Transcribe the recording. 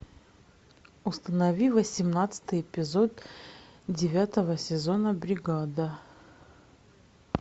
установи восемнадцатый эпизод девятого сезона бригада